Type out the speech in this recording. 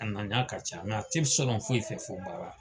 A ka ca a tɛ sɔnna foyi fɛ fo baara.